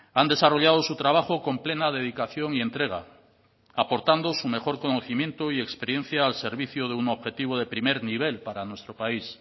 han desarrollado su trabajo con plena dedicación y entrega aportando su mejor conocimiento y experiencia al servicio de un objetivo de primer nivel para nuestro país